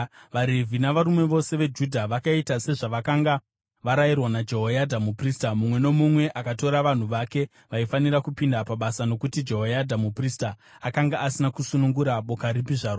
VaRevhi navarume vose veJudha vakaita sezvavakanga varayirwa naJehoyadha muprista. Mumwe nomumwe akatora vanhu vake vaifanira kupinda pabasa nokuti Jehoyadha muprista akanga asina kusunungura boka ripi zvaro.